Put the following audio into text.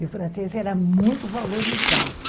E o francês era muito valorizado.